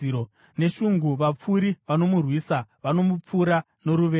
Neshungu vapfuri vanomurwisa; vanomupfura noruvengo.